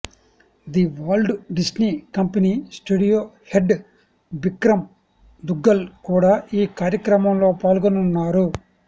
the Walt Disney company studio head Bikram Duggal కూడా ఈ కార్యక్రమంలో పాల్గొనున్నారు